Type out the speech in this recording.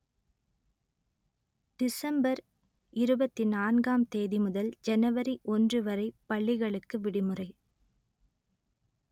December இருபத்தி நான்காம் தேதி முதல் ஜனவரி ஒன்று வரை பள்ளிகளுக்கு விடுமுறை